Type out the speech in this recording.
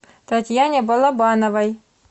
татьяне балабановой